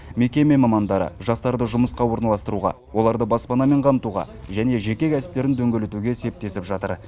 мекеме мамандары жастарды жұмысқа орналастыруға оларды баспанамен қамтуға және жеке кәсіптерін дөңгелетуге септесіп жатыр